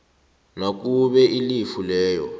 nakube ilifu leyo